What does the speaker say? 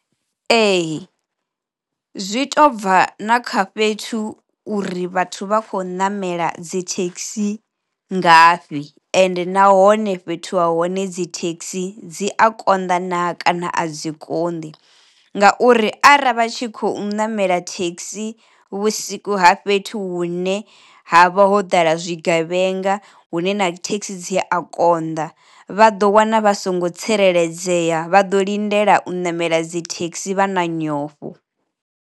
Ee zwi to bva na kha fhethu uri vhathu vha kho namela dzi thekhisi ngafhi ende nahone fhethu ha hone dzi thekhisi dzi a konḓa naa kana a dzi koni, ngauri arali vha tshi khou namela thekhisi vhusiku ha fhethu hune ha vha ho ḓala zwi gevhenga hune na thekhisi dzi a konḓa, vha ḓo wana vha songo tsireledzea vhado lindela u namela dzithekhisi vha na nyofho.